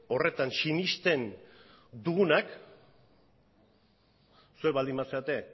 horretan sinesten dugunak zuek baldin bazarete